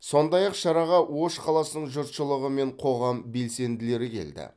сондай ақ шараға ош қаласының жұртшылығы мен қоғам белсенділері келді